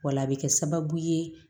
Wala a bɛ kɛ sababu ye